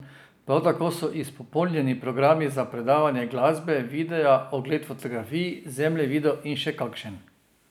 Prav tako so izpopolnjeni programi za predvajanje glasbe, videa, ogled fotografij, zemljevidov in še kakšen.